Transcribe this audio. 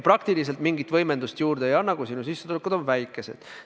Praktiliselt mingit võimendust see juurde ei anna, kui sinu sissetulekud on väikesed.